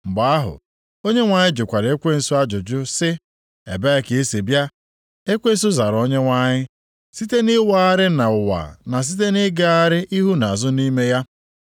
Mgbe ahụ, Onyenwe anyị jụkwara ekwensu ajụjụ sị, “Ebee ka i si abịa?” Ekwensu zara onyenwe anyị, “Site nʼịwagharị nʼụwa na site nʼịgagharị ihu na azụ nʼime ya.”